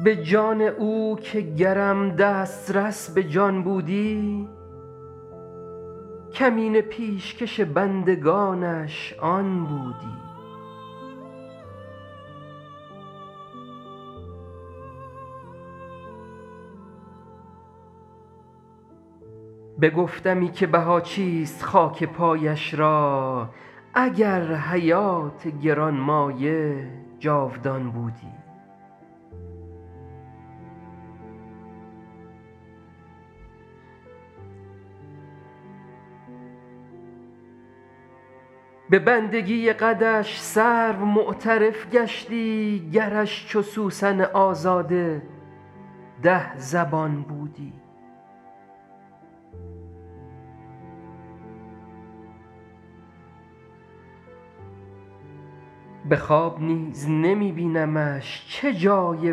به جان او که گرم دسترس به جان بودی کمینه پیشکش بندگانش آن بودی بگفتمی که بها چیست خاک پایش را اگر حیات گران مایه جاودان بودی به بندگی قدش سرو معترف گشتی گرش چو سوسن آزاده ده زبان بودی به خواب نیز نمی بینمش چه جای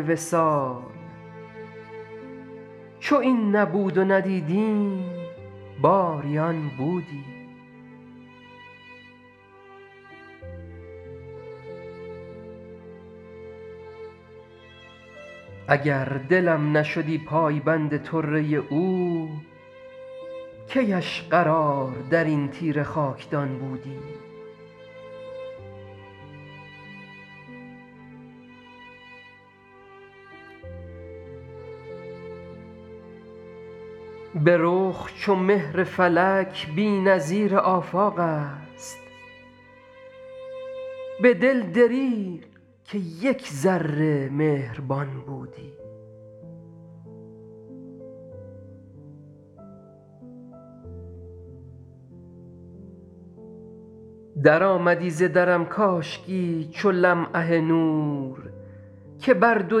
وصال چو این نبود و ندیدیم باری آن بودی اگر دلم نشدی پایبند طره او کی اش قرار در این تیره خاکدان بودی به رخ چو مهر فلک بی نظیر آفاق است به دل دریغ که یک ذره مهربان بودی درآمدی ز درم کاشکی چو لمعه نور که بر دو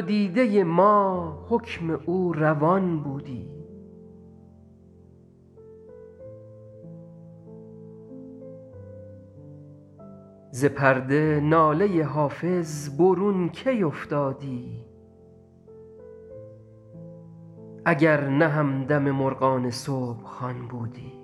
دیده ما حکم او روان بودی ز پرده ناله حافظ برون کی افتادی اگر نه همدم مرغان صبح خوان بودی